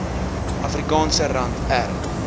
afrikaanse rand r